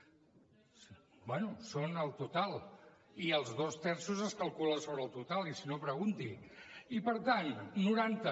bé són el total i els dos terços es calculen sobre el total i si no pregunti i per tant noranta